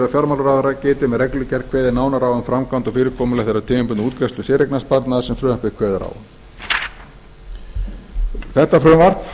fjármálaráðherra geti með reglugerð kveðið nánar á um framkvæmd og fyrirkomulag þeirrar tímabundnu útgreiðslu séreignarsparnaðar sem frumvarpið kveður á um þetta frumvarp